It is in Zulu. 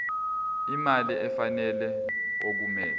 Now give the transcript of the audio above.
imali efanele okumele